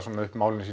málin